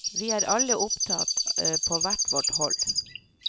Vi er alle opptatt på hvert vårt hold.